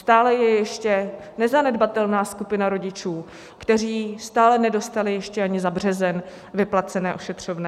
Stále je ještě nezanedbatelná skupina rodičů, kteří stále nedostali ještě ani za březen vyplacené ošetřovné.